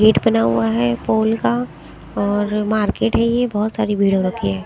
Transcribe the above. Gate बना हुआ है फूल का और मार्केट है येबहोत सारी भीड़ हो रखी है।